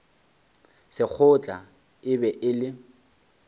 sekgotla e be e le